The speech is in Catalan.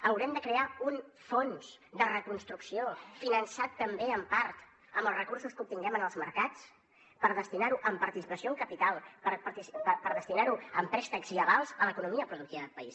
haurem de crear un fons de reconstrucció finançat també en part amb els recursos que obtinguem en els mercats per destinarho en participació o en capital per destinarho en préstecs i avals a l’economia productiva del país